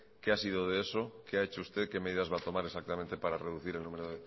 qué ha sido de eso qué ha hecho usted qué medidas va a tomar exactamente para reducir el número